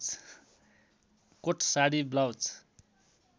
coat sari blouse